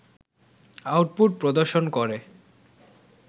output প্রদর্শন করে